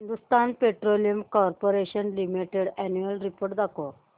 Hindustan Petroleum Corporation Limited annual report दाखव